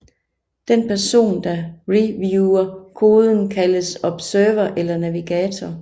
Den person der reviewer koden kaldes observer eller navigator